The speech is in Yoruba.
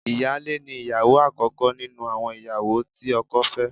Ìyáálé ni ìyàwó àkọ́kọ́ nínú àwọn ìyàwó tí ọkọ fẹ́